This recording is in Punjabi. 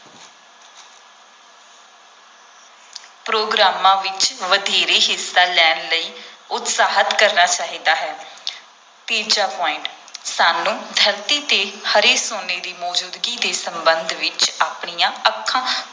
ਪ੍ਰੋਗਰਾਮਾਂ ਵਿਚ ਵਧੇਰੇ ਹਿੱਸਾ ਲੈਣ ਲਈ ਉਤਸ਼ਾਹਤ ਕਰਨਾ ਚਾਹੀਦਾ ਹੈ ਤੀਜਾ point ਸਾਨੂੰ ਧਰਤੀ ‘ਤੇ ਹਰੇ ਸੋਨੇ ਦੀ ਮੌਜੂਦਗੀ ਦੇ ਸੰਬੰਧ ਵਿਚ ਆਪਣੀਆਂ ਅੱਖਾਂ